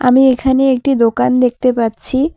আমি এখানে একটি দোকান দেখতে পাচ্ছি।